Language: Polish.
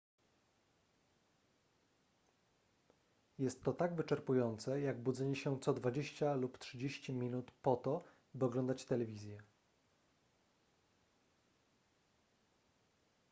jest to tak wyczerpujące jak budzenie się co dwadzieścia lub trzydzieści minut po to by oglądać telewizję